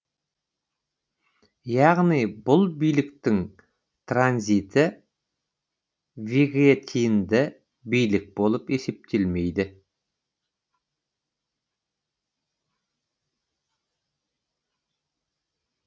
яғни бұл биліктің транзиті вегетинді билік болып есептелмейді